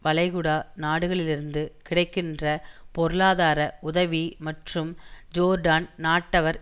வளைகுடா நாடுகளிலிருந்து கிடைக்கின்ற பொருளாதார உதவி மற்றும் ஜோர்டான் நாட்டவர்